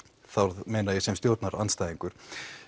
þá meina ég sem stjórnarandstæðingur